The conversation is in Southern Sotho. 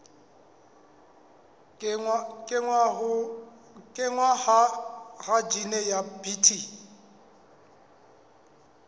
kenngwa ha jine ya bt